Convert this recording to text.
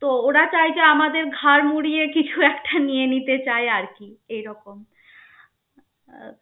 তো ওরা চায় যে আমাদের ঘাড় মুড়িয়ে কিছু একটা নিয়ে নিতে চায় আরকি, এইরকম. আহ